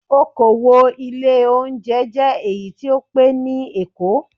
Okowò ilé oúnjẹ jẹ́ èyí tó pẹ́ ní Èkó.